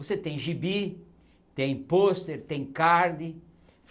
Você tem gibi, tem pôster, tem card.